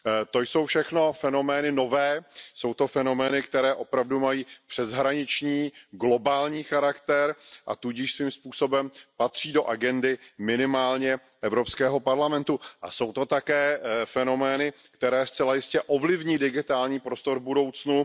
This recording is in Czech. To jsou všechno fenomény nové, jsou to fenomény, které opravdu mají přeshraniční globální charakter, a tudíž svým způsobem patří do agendy minimálně Evropského parlamentu a jsou to také fenomény, které zcela jistě ovlivní digitální prostor v budoucnu.